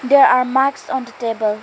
There are mics on the table.